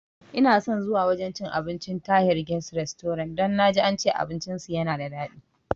Inason zuwa wajan cin abincin Tahir guest restaurant don naji ance abinci su yana da dadi